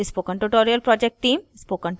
spoken tutorial project team